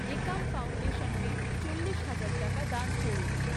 একাম ফাউন্ডেশনকে চল্লিশ হাজার টাকা দান করুন।